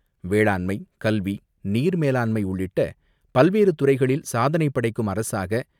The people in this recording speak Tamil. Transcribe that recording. வேளாண்மை, கல்வி, நீர்மேலாண்மை உள்ளிட்ட பல்வேறு துறைகளில் சாதனை படைக்கும் அரசாக